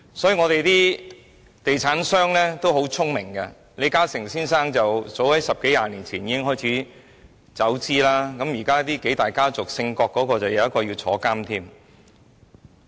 香港的地產商很聰明，李嘉誠先生早在十多二十年前已開始撤資，而在數大家族中，姓郭的那家有一位現正坐牢。